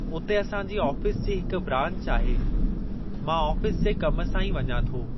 उते असांजी ऑफ़िस जी हिक ब्रांच आहे, मां ऑफ़िस जे कम सां ई वञां थो।